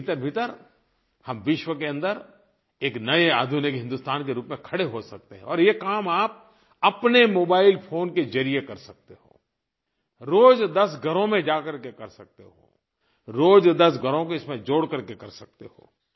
एक महीने के भीतरभीतर हम विश्व के अन्दर एक नये आधुनिक हिंदुस्तान के रूप में खड़े हो सकते हैं और ये काम आप अपने मोबाइल फोन के ज़रिये कर सकते हो रोज़ 10 घरों में जाकर के कर सकते हो रोज़ 10 घरों को इसमें जोड़ करके कर सकते हो